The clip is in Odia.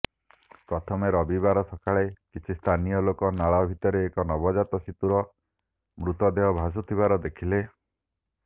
ପ୍ରଥମେ ରବିବାର ସକାଳେ କିଛି ସ୍ଥାନୀୟ ଲୋକ ନାଳ ଭିତରେ ଏକ ନବଜାତ ଶିଶୁର ମୃତଦେହ ଭାସୁଥିବାର ଦେଖିଥିଲେ